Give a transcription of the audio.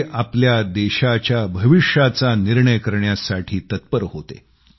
ते आपल्या देशाच्या भविष्याचा निर्णय करण्यासाठी तत्पर होते